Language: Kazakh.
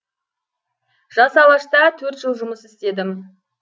жас алашта төрт жыл жұмыс істедім